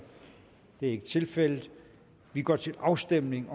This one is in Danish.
det er ikke tilfældet og vi går til afstemning